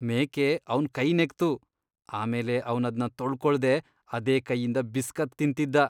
ಮೇಕೆ ಅವ್ನ್ ಕೈ ನೆಕ್ತು, ಆಮೇಲೆ ಅವ್ನದ್ನ ತೊಳ್ಕೊಳ್ದೇ ಅದೇ ಕೈಯಿಂದ ಬಿಸ್ಕತ್ ತಿಂತಿದ್ದ.